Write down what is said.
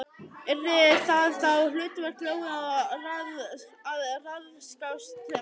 Yrði það þá hlutverk Lóu að ráðskast með hana?